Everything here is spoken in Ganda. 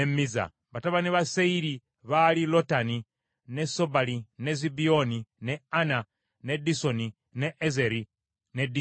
Batabani ba Seyiri baali Lotani, ne Sobali, ne Zibyoni, ne Ana, ne Disoni, ne Ezeri ne Disani.